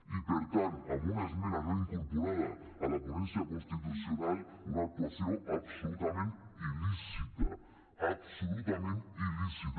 i per tant amb una esmena no incorporada a la ponència constitucional una actuació absolutament il·lícita absolutament il·lícita